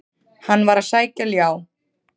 Hann var að sækja ljá.